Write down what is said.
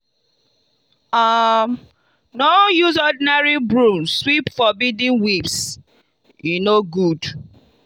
um no use ordinary broom sweep forbidden weeds e no good.